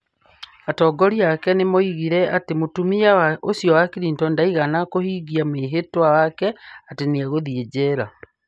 Atongoria ake nĩ moigire atĩ mũtumia ũcio wa Clinton ndaigana kũhingia mwĩhĩtwa wake atĩ nĩ egũthiĩ njera.